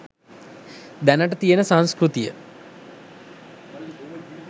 දැනට තියෙන සංස්කෘතිය